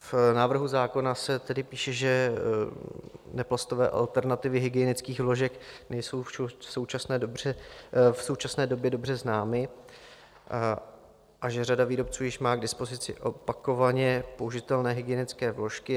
V návrhu zákona se tedy píše, že neplastové alternativy hygienických vložek nejsou v současné době dobře známy a že řada výrobců již má k dispozici opakovatelně použitelné hygienické vložky.